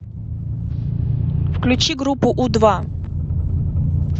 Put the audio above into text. включи группу у два